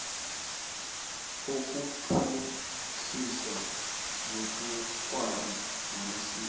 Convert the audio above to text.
ukuphuhlisa zobukghwari namasiko